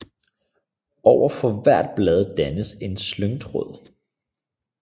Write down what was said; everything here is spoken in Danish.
Overfor hvert blad dannes en slyngtråd